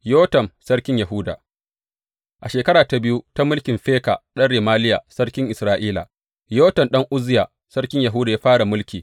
Yotam sarkin Yahuda A shekara ta biyu ta mulkin Feka ɗan Remaliya sarkin Isra’ila, Yotam ɗan Uzziya sarkin Yahuda ya fara mulki.